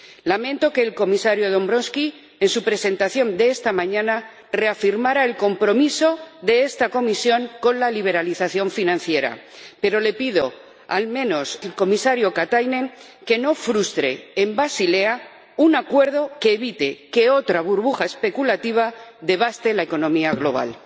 Lamento que el Comisario Dombrovskis, en su presentación de esta mañana, reafirmara el compromiso de esta Comisión con la liberalización financiera y le pido al Comisario Katainen que, al menos, no frustre en Basilea un acuerdo que evite que otra burbuja especulativa devaste la economía global.